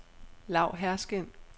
Lau Herskind